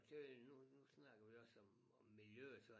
Det nu nu snakker vi også om om miljøet så